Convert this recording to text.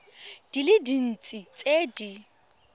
di le dintsi tse di